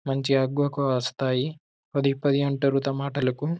మంచిగా అగ్గువకు వస్తాయి పది పది అంటరు టమాటాలుకు.